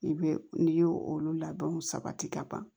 I bɛ n'i y'o olu labɛnw sabati ka ban